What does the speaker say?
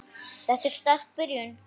Þetta er sterk byrjun.